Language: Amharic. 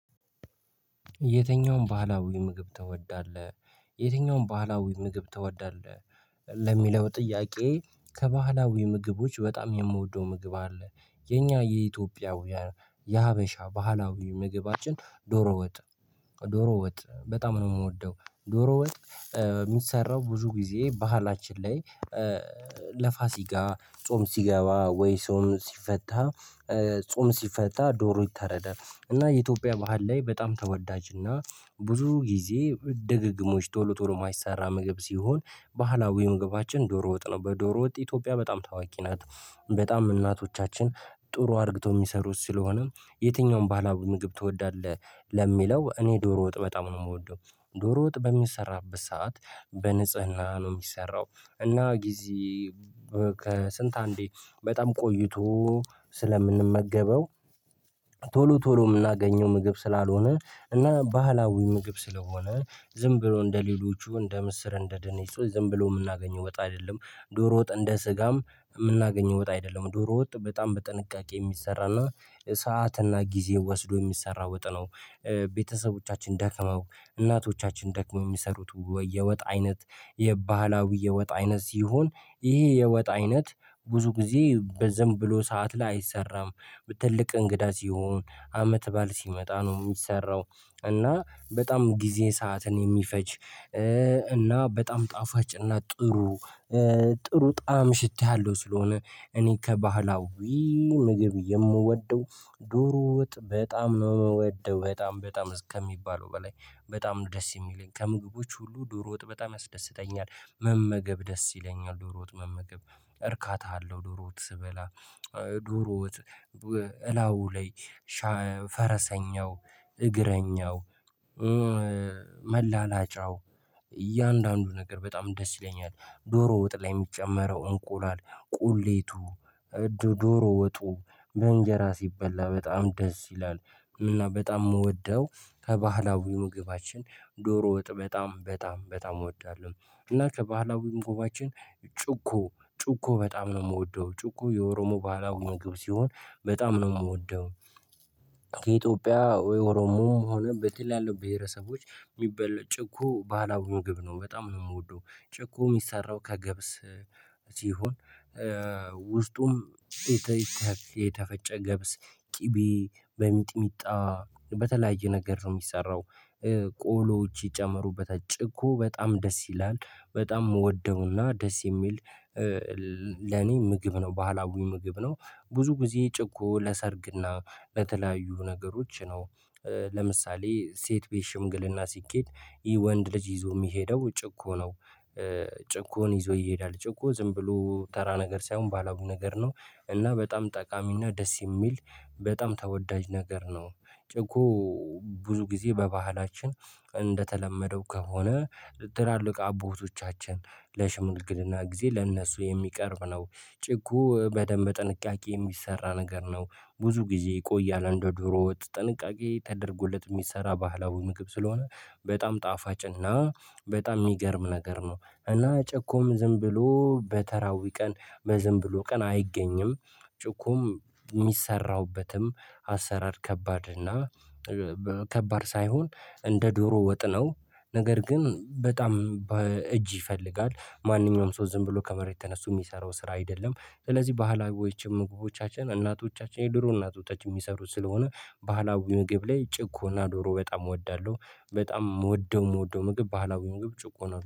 የተኛውን ባህላዊ ምግብ ትወዳለህ የተኛውን ባህላዊ ምግብ ትወዳለህ ለሚለው ጥያቄ ከባህላዊ ምግቦች በጣም የምወደው ምግብ አለ የኛ የኢትዮጵያ የሀበሻ ባህላዊ ምግባችን ዶሮ ወጥ ዶሮ ወጥ በጣም ነው የምወደው። ዶሮ ወጥ የሚሰራው ብዙ ጊዜ ባህላችን ላይ ለፋሲጋ ጾም ሲገባ ወይ ጾም ሲፈታ ጾም ሲፈታ ዶሮ ይተረዳል። እና የኢትዮጵያ ባህል ላይ በጣም ተወዳጅ እና ብዙ ጊዜ ድግግሞች ቶሎ ቶሎ ማይሰራ ምግብ ሲሆን ባህላዊ መግባችን ዶሮ ወጥ ነው በዶሮ ወጥ ኢትዮጵያ በጣም ታዋቂ ናት። በጣም እናቶቻችን ጥሩ አድርግተው የሚሰሩት ስለሆነ የትኛውን ባህላዊ ምግብ ትወዳለህ? ለሚለው እኔ ዶሮ ወጥ በጣም ነው የምወደው። ዶሮ ወጥ በሚሰራበት ሰዓት በንጽህና ነው የሚሰራው። እና ጊዜ ከስንት አንዴ በጣም ቆይቶ ስለምንመገበው ቶሎ ቶሎ የምናገኘው ምግብ ስላልሆነ እና ባህላዊ ምግብ ስለሆነ ዝም ብሎ እንደሌሎቹ እንደምስር እንደ ድንች ዝም ብሎ የምናገኘው ወጣ አይደለም። ዶሮ ወጥ እንደ ስጋም የምናገኘው ወጥ አይደለም ዶሮ ወጥ በጣም በጥንቃቄ የሚሰራ እና ሰዓት እና ጊዜ ወስዶ የሚሰራ ወጥ ነው። ቤተሰቦቻችን ደከመው እናቶቻችን ደክመው የሚሰሩት ወይ የወጥ አይነት የባህላዊ የወጥ አይነት ሲሆን ይሄ የወጥ አይነት ብዙ ጊዜ ዝም ብሎ ሰዓት ላይ አይሰራም። ትልቅ እንግዳ ሲሆን አመት ባል ሲመጣ ነው የሚሰራው። እና በጣም ጊዜ ሰዓትን የሚፈጅ እና በጣም ጣፋጭ እና ጥሩ ጥሩ ጣዕም ሽታያለው ስለሆነ እኔ ከባህላዊ ምግብ የምወደው ዶሮ ወጥ በጣም የምወደው በጣም በጣም እስከሚባለው በላይ። በጣም ደስ የሚለኝ ከምግቦች ሁሉ ዶሮ ወጥ በጣም ያስደስተኛል። መመገብ ደስ ይለኛል ዶሮ ወጥ መመገብ እርካታ አለው ዶሮ ወጥ ስበላ። ዶሮት ወጥ እላው ላይ ፈረሰኛው እግረኛው መላላጫው እያንዳንዱ ነገር በጣም ደስ ይለኛል። ዶሮ ወጥ ላይ የሚጨመረው እንቁላል ቁሌቱ ዶሮ ወጡ በእንጀራ ሲበላ በጣም ደስ ይላል። እና በጣም የምወደው ከባህላዊ ምግባችን ዶሮ ወጥ በጣም በጣም በጣም እወዳለሁ። እና ከባህላዊ ምግባችን ጩኮ ጩኮ በጣም ነው የምወደው ጩኮ የኦሮሞ ባህላዊ ምግብ ሲሆን በጣም ነው የምወደው። ከኢትዮጵያ ወይ ኦሮሞም በተለያዩ ብሄረሰቦች የሚበላ ጭኮ ባህላዊ ምግብ ነው በጣም ነው የምወደው። ጭኮ የሚሰራው ከገብስ ሲሆን ውስጡም የተፈጨ ገብስ ቅቤ በሚጥሚጣ በተለያየ ነገር ነው የሚሰራው። ቆሎዎች ይጨምሩበታለሰ ጭኮ በጣም ደስ ይላል በጣም የምወደው እና ደስ የሚል ለኔ ምግብ ነው ባህላዊ ምግብ ነው። ብዙ ጊዜ ጭኮ ለሰርግ እና ለተለያዩ ነገሮች ነው። ለምሳሌ ሴት ቤት ሽምግልና ሲኬድ ይሄ ወንድ ልጅ ይዞ የሚሄደው ጭኮ ነው። ጭኮነሰ ይዞ ይሄዳል ጭኮ ዝም ብሎ ተራ ነገር ሳይሆን ባህላዊ ነገር ነው። እና በጣም ጠቃሚ እና ደስ የሚል በጣም ተወዳጅ ነገር ነው። ጭኮ ብዙ ጊዜ በባህላችን እንደተለመደው ከሆነ ትላልቅ አቦቶቻችን ለሽምልግልና ጊዜ ለእነሱ የሚቀርብ ነው ጭኮ በደንብ ጥንቃቄ የሚሰራ ነገር ነው። ብዙ ጊዜ ይቆያል እንደ ዶሮ ወጥ ጥንቃቄ ተደርጎለት የሚሰራ ባህላዊ ምግብ ስለሆነ በጣም ጣፋጭ እና በጣም የሚገርም ነገር ነው። እና ጭኮም ዝም ብሎ በተራዊ ቀን በዝም ብሎ ቀን አይገኝም። ጭኮም የሚሰራበትም አሰራር ከባድ እና ከባድ ሳይሆን እንደ ዶሮ ወጥነው ነገር ግን በጣም በእጅ ይፈልጋል ማንኛውም ሰው ዝም ብሎ ከመሬት ተነስቶ የሚሰራው ስራ አይደለም። ስለዚህ ባህላዊዎችም ምግቦቻችን እናቶቻችን የድሮ እናቶች የሚሰሩት ስለሆነ ባህላዊ ምግብ ላይ ጭኮ እና ዶሮ በጣም እወዳለሁ። በጣም የምወደው የምወደው ምግብ ባህላዊን ግብ ጭኮ እና